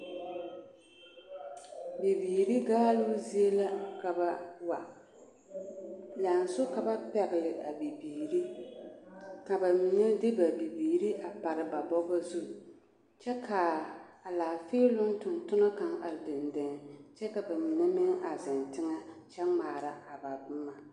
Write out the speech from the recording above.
Bibiiri gaaloo zie la ka ba wa lɛnso ka ba pɛgle bibiiri ka ba mine de ba bibiiri pare ba bɔgɔ zu kyɛ k,a laafeeloŋ tontonɔ kaŋ a zeŋ kyɛ ka ba mine meŋ a zeŋ teŋɛ kyɛ ŋmaara a boma.